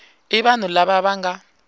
i vanhu lava va nga